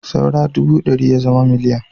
Saura ɗubu ɗari ya zama miloniya